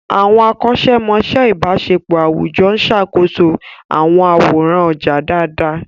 Àwọn akọ́ṣẹ́mọṣẹ́ ìbáṣepọ̀ àwùjọ ń ṣàkóso àwọn àwòrán ọjà dáadáa.